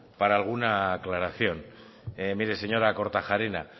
para alguna aclaración mire señora kortajarena